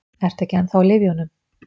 Ertu ekki ennþá á lyfjunum?